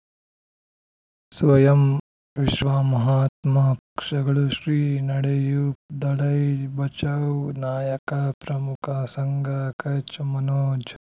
ಸ್ವಯಂ ವಿಶ್ವ ಮಹಾತ್ಮ ಪಕ್ಷಗಳು ಶ್ರೀ ನಡೆಯೂ ದಲೈ ಬಚೌ ನಾಯಕ ಪ್ರಮುಖ ಸಂಘ ಕಚ್ ಮನೋಜ್